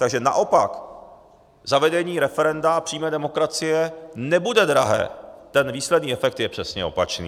Takže naopak, zavedení referenda a přímé demokracie nebude drahé, ten výsledný efekt je přesně opačný.